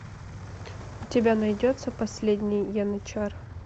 у тебя найдется последний янычар